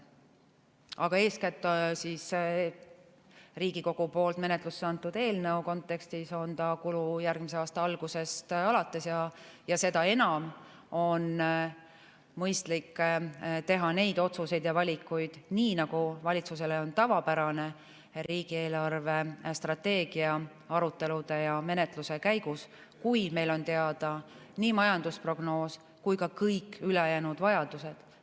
Aga eeskätt Riigikogu poolt menetlusse antud eelnõu kontekstis on ta kulu järgmise aasta algusest alates ja seda enam on mõistlik teha neid otsuseid ja valikuid, nii nagu valitsusele on tavapärane, riigi eelarvestrateegia arutelude ja menetluse käigus, kui meil on teada nii majandusprognoos kui ka kõik ülejäänud vajadused.